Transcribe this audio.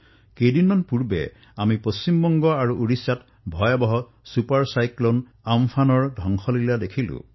যোৱা কিছু সপ্তাহত আমি পশ্চিমবংগ আৰু ওড়িশাত ছুপাৰ চাইক্লন আম্ফনৰ বিভীষিকা প্ৰত্যক্ষ কৰিলো